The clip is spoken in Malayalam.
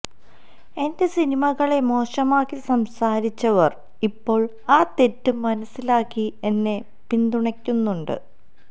എന്റെ സിനിമകളെ മോശമാക്കി സംസാരിച്ചവര് ഇപ്പോള് ആ തെറ്റ് മനസിലാക്കി എന്നെ പിന്തുണയ്ക്കുന്നുണ്ട്